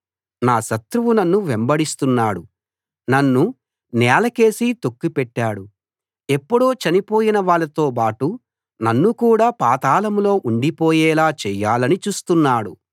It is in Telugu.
నా శత్రువు నన్ను వెంబడిస్తున్నాడు నన్ను నేలకేసి తొక్కిపెట్టాడు ఎప్పుడో చనిపోయిన వాళ్ళతో బాటు నన్ను కూడా పాతాళంలో ఉండిపోయేలా చేయాలని చూస్తున్నాడు